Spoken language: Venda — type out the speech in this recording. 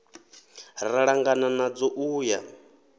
ra ṱangana nadzo u ya